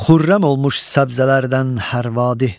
Xürrəm olmuş səbzələrdən hər vadi.